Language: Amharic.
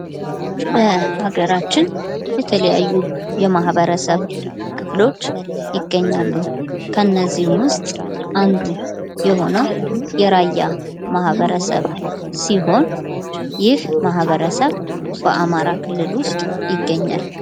በሀገራችን የተለያዩ የማህበረሰብ ክፍሎች ይገኛሉ ። እነዚህም ውስጥ አንዱ የሆነው የራያ ማህበረሰብ ሲሆን ይህ ማህበረሰብ በአማራ ክልል ውስጥ ይገኛል ።